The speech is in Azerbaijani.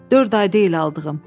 Dörd ay deyil aldığım.